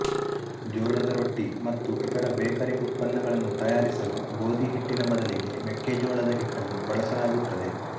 ಜೋಳದ ರೊಟ್ಟಿ ಮತ್ತು ಇತರ ಬೇಕರಿಉತ್ಪನ್ನಗಳನ್ನು ತಯಾರಿಸಲು ಗೋಧಿ ಹಿಟ್ಟಿನ ಬದಲಿಗೆ ಮೆಕ್ಕೆ ಜೋಳದ ಹಿಟ್ಟನೂ ಬಳಸಲಾಗುತ್ತದೆ